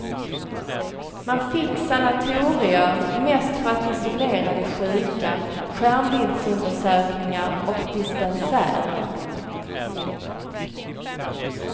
Man fick sanatorier, mest för att isolera de sjuka, skärmbildsundersökningar och dispensärer.